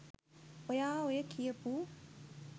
ඔයා ඔය කියපු